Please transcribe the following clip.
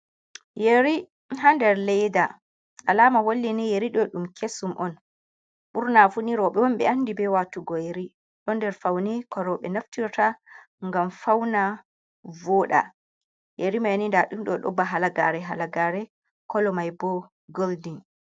Yeri ha nder leda. Alama holli ni yeri ɗo ɗum kesum on. Ɓurna funi rowɓe on ɓe andi be waatugo yeri. Ɗo nder faune ko rowɓe naftirta, ngam fauna vooɗa. Yeri mai ni nda ɗum ɗo ba halagaare-halagaare, kolo mai bo goldin.